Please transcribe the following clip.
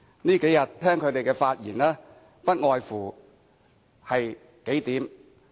這數天以來，聽罷他們的發言，內容不外乎數點。